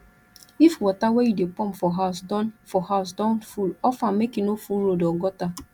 if water wey you de pump for house don for house don full off am make e no full road or gutter